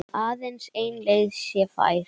Aðeins ein leið sé fær.